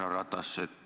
Härra Ratas!